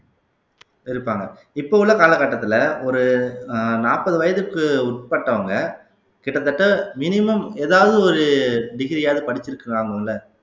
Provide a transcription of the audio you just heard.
இருப்பாங்க இப்ப உள்ள காலகட்டத்துல ஒரு அஹ் நாப்பது வயதுக்கு உட்பட்டவங்க கிட்டத்தட்ட minimum எதாவது ஒரு degree யாவது படிச்சிருக்கிறாங்கல்ல